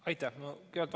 Aitäh!